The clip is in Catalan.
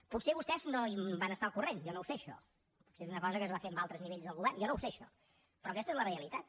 potser vostès no en van estar al corrent jo no ho sé això potser és una cosa que es va fer en altres nivells del govern jo no ho sé això però aquesta és la realitat